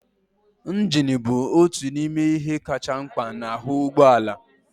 Injin bụ otu n'ime ihe kacha mkpa n'ahu ụgbọ ala